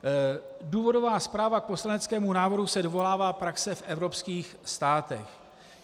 Důvodová zpráva k poslaneckému návrhu se dovolává praxe v evropských státech.